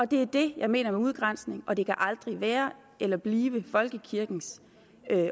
det er det jeg mener med udgrænsning og det kan aldrig være eller blive folkekirkens